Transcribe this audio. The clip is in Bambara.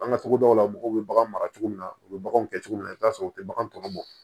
An ka togodaw la mɔgɔw bɛ baganw mara cogo min na u bɛ baganw kɛ cogo min na i bɛ t'a sɔrɔ u tɛ bagan tɔ bɔ